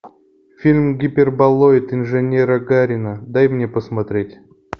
фильм гиперболоид инженера гарина дай мне посмотреть